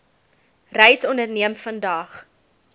reis onderneem vandag